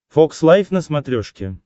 фокс лайф на смотрешке